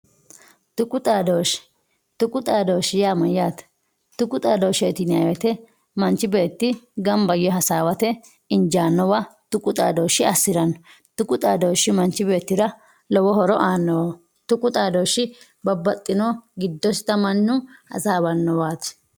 tuqu xaadooshshe tuqu xaadooshshe yaa mayyaate tuqu xaadooshsheeti yinayii woyiite manchi beetti ganba yee hasaawate injaannowa tuqu xaadooshshe assiranno tuqu xaadooshshi beettira lowo horo aannoho tuqu xaadooshshi babbaxxino giddosita mannu hasaawannowaati